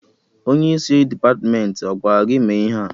Onye isi Dipatmentị agwara gị mee ihe a?